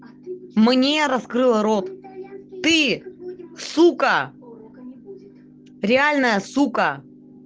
мне раскрыла рот ты сука реальная сука